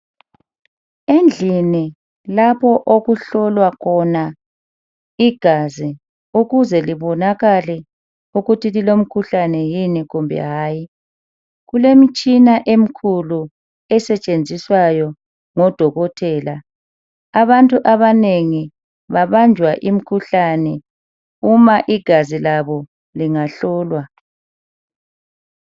Endlini lapho okuhlolwa khona igazi ukuze libonakale ukuthi lilomkhuhlane kumbe hayi kulemitshina emkhulu esetshenziswayo ngodokotela abantu abanengi babanjwa imikhuhlane uma igazi labo lingahlolwa.